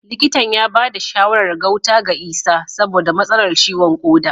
Likitan ya bada shawarar gauta ga Isah saboda matsalar ciwon koda